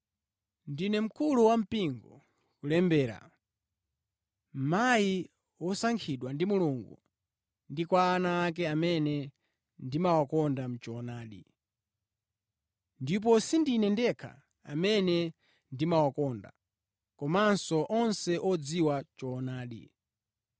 Ndine mkulu wampingo, kulembera: Mayi wosankhidwa ndi Mulungu ndi kwa ana ake amene ndimawakonda mʼchoonadi. Ndipo sindine ndekha amene ndimawakonda, komanso onse odziwa choonadi.